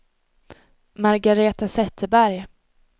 Margaretha Zetterberg